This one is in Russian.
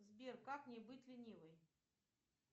сбер как не быть ленивой